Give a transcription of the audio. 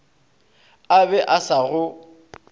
a be a sa go